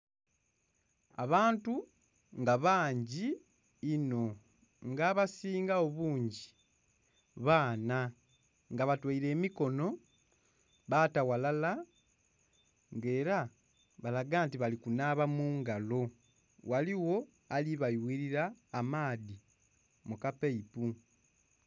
Abantu nga bangi inho nga abasingagho bungi baana nga batoire emikonho baata ghalala nga era balaga nti bali kunhaba mungalo, ghaligho ali bayughilila amaadhi mu ka paipu.